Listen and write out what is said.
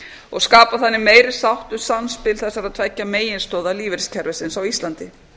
og skapa þannig meiri sátt um samspil þessara tveggja meginstoða lífeyriskerfisins á íslandi